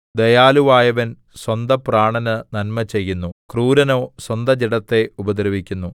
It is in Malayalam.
ദയാലുവായവൻ സ്വന്തപ്രാണന് നന്മ ചെയ്യുന്നു ക്രൂരനോ സ്വന്തജഡത്തെ ഉപദ്രവിക്കുന്നു